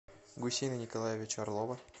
гусейна николаевича орлова